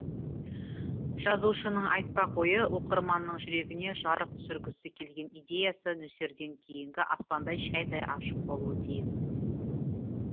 жазушының айтпақ ойы оқырманның жүрегіне жарық түсіргісі келген идеясы нөсерден кейінгі аспандай шәйдай ашық болуы тиіс